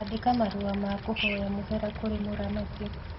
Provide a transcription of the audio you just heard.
Andĩka marũa ma kũhoya mũhera kũrĩ mũramati